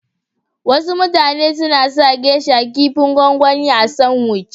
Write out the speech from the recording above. Wasu mutane suna sa "geisha " kipin gwangwani a sanwici.